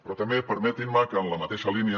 però també permetin me que en la mateixa línia